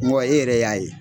Mɔgɔ e yɛrɛ y'a ye